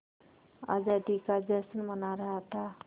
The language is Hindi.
आज़ादी का जश्न मना रहा था